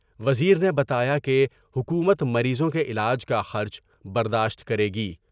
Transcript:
وزیر نے بتایا کہ حکومت مریضوں کے علاج کا خرچ برداشت کرے گی ۔